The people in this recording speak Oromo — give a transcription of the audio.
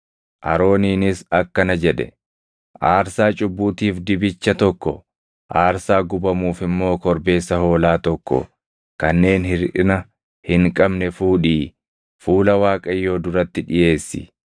Arooniinis akkana jedhe; “Aarsaa cubbuutiif dibicha tokko, aarsaa gubamuuf immoo korbeessa hoolaa tokko kanneen hirʼina hin qabne fuudhii fuula Waaqayyoo duratti dhiʼeessi.